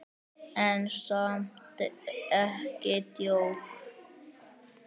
En samt ekki djók.